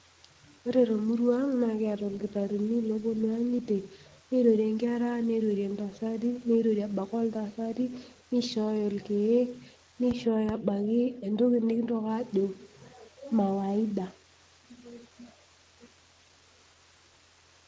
Ore temurua ang' naa kiata irkitarini looponu inkang'itie nirorie nkera nirorie intasati nirorie embaiki intasati nishooyo irkeek nishooyo ebaiki entoki nikintoki aajo mawaidha.